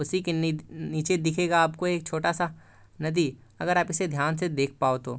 उसी के नी-नीचे दिखेगा आपको एक छोटा सा नदी अगर आप इसे ध्यान से देख पाओ तो।